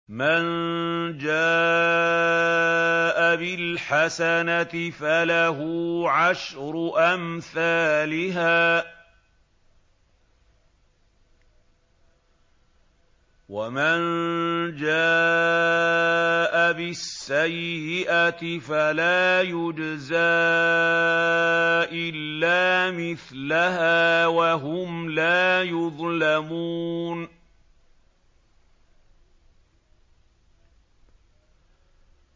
مَن جَاءَ بِالْحَسَنَةِ فَلَهُ عَشْرُ أَمْثَالِهَا ۖ وَمَن جَاءَ بِالسَّيِّئَةِ فَلَا يُجْزَىٰ إِلَّا مِثْلَهَا وَهُمْ لَا يُظْلَمُونَ